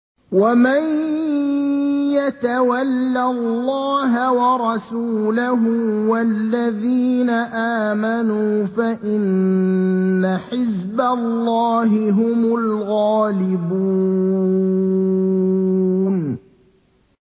وَمَن يَتَوَلَّ اللَّهَ وَرَسُولَهُ وَالَّذِينَ آمَنُوا فَإِنَّ حِزْبَ اللَّهِ هُمُ الْغَالِبُونَ